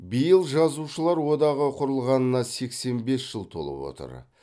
биыл жазушылар одағы құрылғанына сексен бес жыл толып отыр